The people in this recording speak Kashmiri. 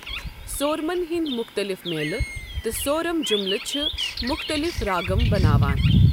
سورمن ہندۍ مٗختلِف میلہِ تہٕ سورم جٗملہٕ چھِ مٗختلِف راگم بناوان ۔